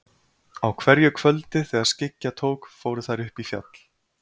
Á hverju kvöldi þegar skyggja tók fóru þær upp í fjall.